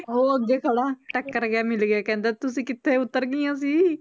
ਉਹ ਅੱਗੇ ਖੜਾ ਟੱਕਰ ਗਿਆ ਮਿਲ ਗਿਆ ਕਹਿੰਦਾ ਤੁਸੀਂ ਕਿੱਥੇ ਉੱਤਰ ਗਈਆਂ ਸੀ